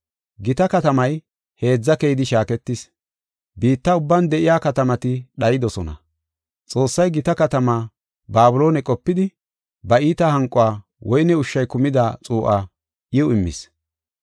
Gita katamay heedza keyidi shaaketis; biitta ubban de7iya katamati dhaydosona. Xoossay gita katamaa Babiloone qopidi, ba iita hanqo woyne ushshay kumida xuu7aa iw immis.